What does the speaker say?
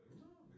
Nåh